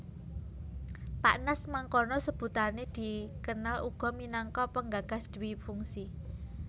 Pak Nas mangkono sebutané dikenal uga minangka penggagas dwifungsi